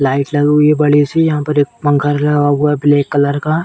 Light लगी हुई है बड़ी सी। यहां पर एक पंखा लगा हुआ है ब्लैक कलर का।